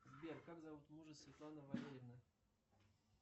сбер как зовут мужа светланы валерьевны